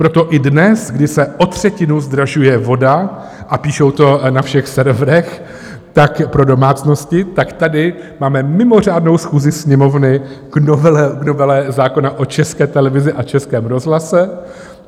Proto i dnes, kdy se o třetinu zdražuje voda, a píšou to na všech serverech, také pro domácnosti, tak tady máme mimořádnou schůzi Sněmovny k novele zákona o České televizi a Českém rozhlase.